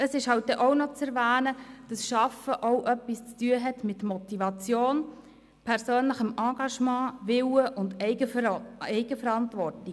Dann ist halt auch noch zu erwähnen, dass arbeiten auch etwas mit Motivation zu tun hat, mit persönlichem Engagement, Willen und Eigenverantwortung.